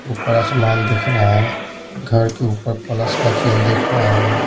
ऊपर आसमान दिख रहा है घर के ऊपर प्लस का चिन्ह दिख रहा है।